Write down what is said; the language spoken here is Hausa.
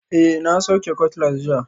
Eh, na sauke cutlass jiya